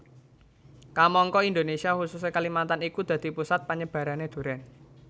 Kamangka Indonésia khususé Kalimantan iku dadi pusat panyebarané durèn